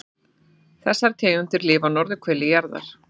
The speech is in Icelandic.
Þessar tegundir lifa á norðurhveli jarðar.